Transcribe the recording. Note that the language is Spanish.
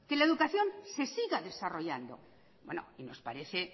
la educación se siga desarrollando y nos parece